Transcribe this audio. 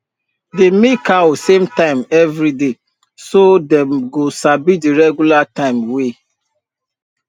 dey milk cow same time every day so dem go sabi the regular time way